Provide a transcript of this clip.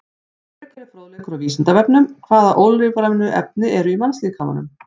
Frekari fróðleikur á Vísindavefnum: Hvaða ólífrænu efni eru í mannslíkamanum?